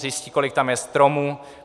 Zjistí, kolik tam je stromů.